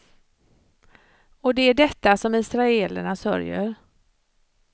Och det är detta som israelerna sörjer.